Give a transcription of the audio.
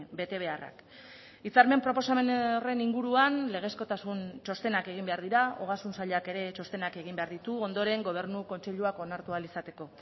betebeharrak hitzarmen proposamen horren inguruan legezkotasun txostenak egin behar dira ogasun sailak ere txostenak egin behar ditu ondoren gobernu kontseiluak onartu ahal izateko